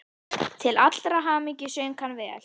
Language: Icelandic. Til allrar hamingju söng hann vel!